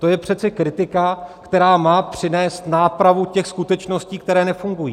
To je přece kritika, která má přinést nápravu těch skutečností, které nefungují.